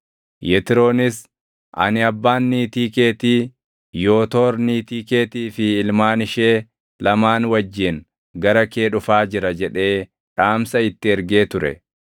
Yetroonis, “Ani abbaan niitii keetii Yootoor niitii keetii fi ilmaan ishee lamaan wajjin gara kee dhufaa jira” jedhee dhaamsa itti ergee ture.